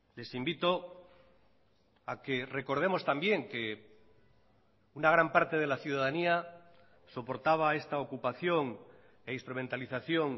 les invito a que recordemos también que una gran parte de la ciudadanía soportaba esta ocupación e instrumentalización